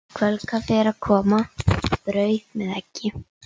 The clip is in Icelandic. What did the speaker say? Kvöldkaffið er að koma, brauð með eggi.